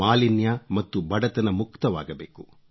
ಮಾಲಿನ್ಯ ಮತ್ತು ಬಡತನ ಮುಕ್ತವಾಗಬೇಕು